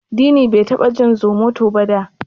Dini bai taba jin Zomoto ba da.